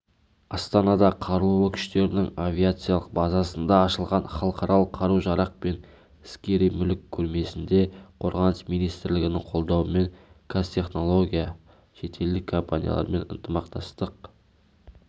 астанада қарулы күштерінің авиациялық базасында ашылған халықаралық қару-жарақ пен скери мүлік көрмесінде қорғаныс министрілігінің қолдауымен қазтехнология шетелдік компаниялармен ынтымақтастық